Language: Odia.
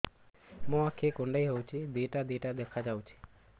ମୋର ଆଖି କୁଣ୍ଡାଇ ହଉଛି ଦିଇଟା ଦିଇଟା ଦେଖା ଯାଉଛି